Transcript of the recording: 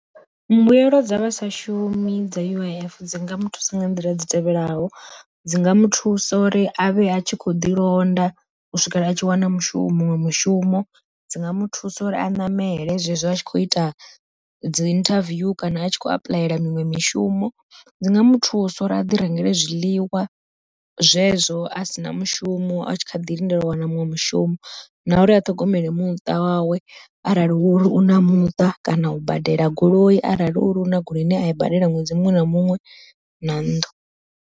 Mbuyelo dza vha sa shumi dza U_I_F dzi nga muthusa nga nḓila dzi tevhelaho, dzi nga muthusa uri a vhe a tshi kho ḓi londa u swikela a tshi wana mushumo muṅwe mushumo, dzi nga muthusa uri a ṋamele zwezwo a tshi kho ita dzi interview kana a tshi kho apuḽaya miṅwe mishumo dzi nga muthusa uri a ḓi rengele zwiḽiwa, zwezwo asina mushumo a tshi kha ḓi lindela u wana muṅwe mushumo na uri a ṱhogomele muṱa wawe arali hu uri una muṱa kana u badela goloi arali huna uri una goloi ine a i badela ṅwedzi muṅwe na muṅwe na nnḓu.